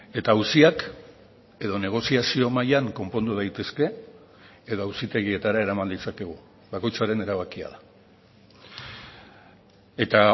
eta auziak edo negoziazio mailan konpondu daitezke edo auzitegietara eraman ditzakegu bakoitzaren erabakia da eta